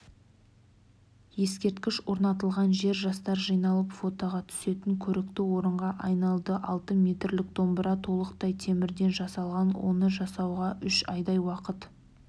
ескерткіш орнатылған жер жастар жиналып фотоға түсетін көрікті орынға айналады алты метрлік домбыра толықтай темірден жасалған оны жасауға үш айдай уақыт